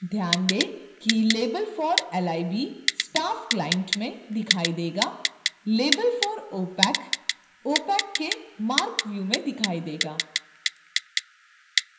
ध्यान the कि label for lib staff client में दिखाई देगा label for opac opac के marc व्यू में दिखाई देगा